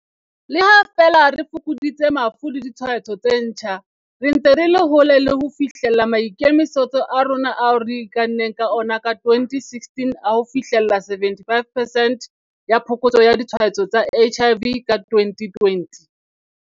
Le ha feela re fokoditse mafu le ditshwaetso tse ntjha, re ntse re le hole le ho fihlella maikemisetso a rona ao re ikanneng ka ona ka 2016 a ho fihlella 75 percent ya phokotso ya ditshwaetso tsa HIV ka 2020.